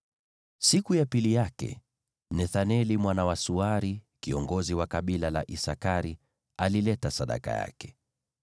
Siku ya pili yake Nethaneli mwana wa Suari, kiongozi wa kabila la Isakari, alileta sadaka yake.